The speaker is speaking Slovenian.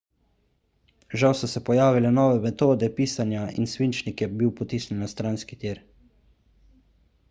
žal so se pojavile nove metode pisanja in svinčnik je bil potisnjen na stranski tir